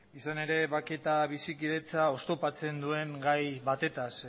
izan ere bake eta bizikidetza oztopatzen duen gai batetaz